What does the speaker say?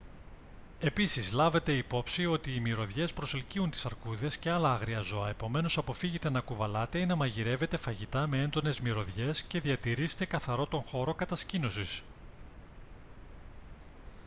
επίσης λάβετε υπόψη ότι οι μυρωδιές προσελκύουν τις αρκούδες και άλλα άγρια ζώα επομένως αποφύγετε να κουβαλάτε ή να μαγειρεύετε φαγητά με έντονες μυρωδιές και διατηρείστε καθαρό τον χώρο κατασκήνωσης